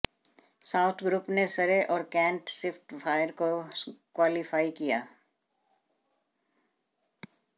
south group ने Surrey और Kent Spitfire को क्वालिफाई किया